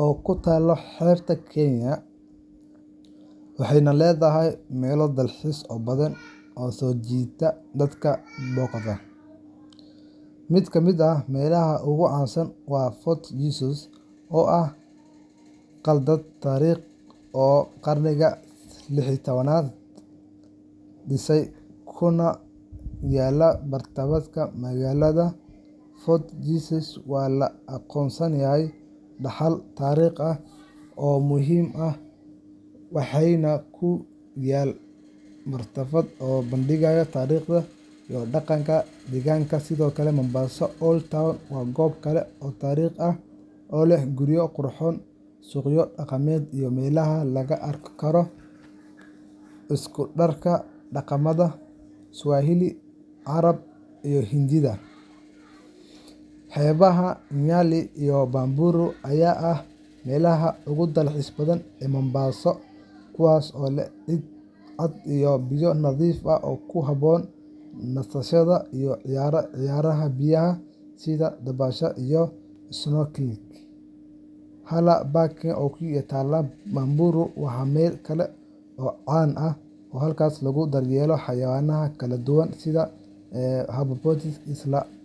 oo ku taalla xeebta Kenya, waxayna leedahay meelo dalxiis oo badan oo soo jiita dadka booqda. Mid ka mid ah meelaha ugu caansan waa Fort Jesus, oo ah qalcad taariikhi ah oo qarnigii lix iyo tobanaad la dhisay, kuna yaal bartamaha magaalada. Fort Jesus waxaa loo aqoonsaday dhaxal taariikhi ah oo muhiim ah waxaana ku yaal matxaf soo bandhigaya taariikhda iyo dhaqanka deegaanka. Sidoo kale, Mombasa Old Town waa goob kale oo taariikhi ah oo leh guryo qurxoon, suuqyo dhaqameed, iyo meelaha laga arki karo isku-darka dhaqamada Swahili, Carab, iyo Hindiya. Xeebaha Nyali iyo Bamburi ayaa ah meelaha ugu dalxiiska badan ee Mombasa, kuwaas oo leh ciid cad iyo biyo nadiif ah oo ku habboon nasashada iyo ciyaaraha biyaha sida dabaasha iyo snorkelling. Haller Park oo ku taalla Bamburi waa meel kale oo caan ah, halkaas oo lagu daryeelo xayawaan kala duwan sida giraffes iyo hippopotamus isla.